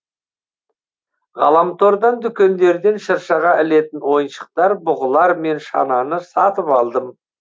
ғаламтордан дүкендерден шыршаға ілетін ойыншықтар бұғылар мен шананы сатып алдым